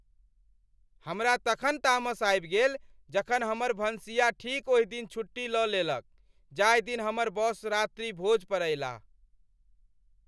हम तखन तामस आबि गेल जखन हमर भनसिया ठीक ओहि दिन छुट्टी लऽ लेलक जाहि दिन हमर बॉस रात्रि भोज पर आएलाह ।